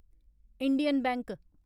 Indian bank